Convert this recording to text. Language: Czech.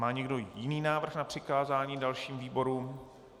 Má někdo jiný návrh na přikázání dalším výborům?